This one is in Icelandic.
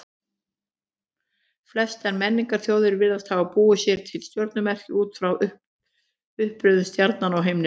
Flestar menningarþjóðir virðast hafa búið sér til stjörnumerki út frá uppröðun stjarnanna á himninum.